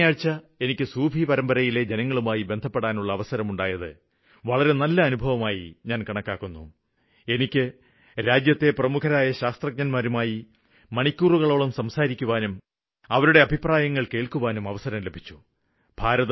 കഴിഞ്ഞ ആഴ്ച എനിക്ക് സൂഫി പരമ്പരയിലെ ജനങ്ങളുമായി ബന്ധപ്പെടാനുള്ള അവസരം ഉണ്ടായത് പോലെ രാജ്യത്തെ പ്രമുഖരായ ശാസ്ത്രജ്ഞന്മാരുമായി മണിക്കൂറുകളോളം സംസാരിക്കാനും അവരുടെ അഭിപ്രായങ്ങള് കേള്ക്കുവാനും അവസരം ലഭിച്ചു